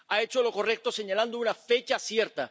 Ha hecho lo correcto señalando una fecha cierta.